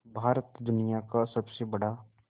भारत दुनिया का सबसे बड़ा